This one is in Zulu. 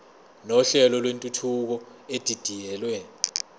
nohlelo lwentuthuko edidiyelwe